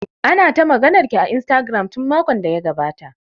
Ana ta maganar ki a Instagram tun makon da ya gabata